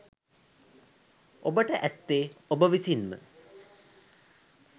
ඔබට ඇත්තේ ඔබ විසින්ම